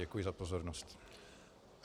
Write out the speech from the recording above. Děkuji za pozornost.